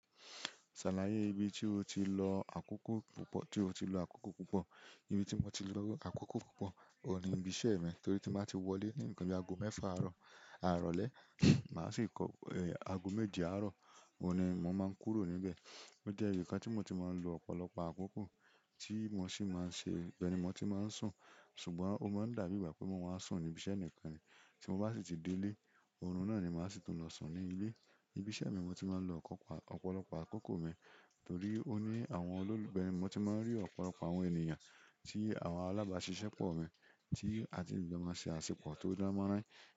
Ṣàlàyé ibi tí o ti lo àkókò púpọ̀, tí o ti lo àkókò púpọ̀. Ibi tí mo ti lo àkókò púpọ̀, òun ni ibi iṣẹ́ mi torí tí n bá ti wọlé ní nkàn bì aago mẹ́fà àárọ̀, ìrọ̀lẹ́, màá sì kó, aago méje àárọ̀, òun ni mo máa ń kúrò níbẹ̀. Ó jẹ́ ibi kan tí mo ti máa ń lo ọ̀pọ̀lọpọ̀ àkókò, tí mo sì máa ń ṣe ibẹ́ ni mo ti máa ń sùn, ṣùgbọ́n ó máa ń dàbí ìgbà pé mo máa sùn ní ibi iṣẹ́ nìkan ni. Tí mo bá sì ti dé ilé, òrun náà ni màá sì tún lọ sùn ní ilé. Ibi iṣẹ́ mi mo ti máa ń lo ọ̀kọ̀pa-- ọ̀pọ̀lọpọ̀ àkókò mi torí ó ní àwọn olólùfẹ́ mi, ibe mo ti máa ń rí ọ̀pọ̀lọpọ̀ àwọn ènìyàn tí àwọn alábàáṣiṣẹ́ pọ̀ mi, tí a ti ń jo máa ṣe àṣepọ̀ tó dán morań.